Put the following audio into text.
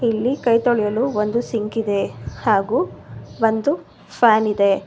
ಇಲ್ಲಿ ಕೈ ತೊಳೆಯಲು ಒಂದು ಸಿಂಕ್ ಇದೆ ಹಾಗು ಒಂದು ಫ್ಯಾನ್ ಇದೆ.